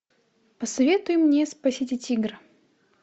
посоветуй мне спасите тигра